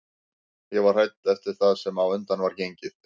Ég var hrædd eftir það sem á undan var gengið en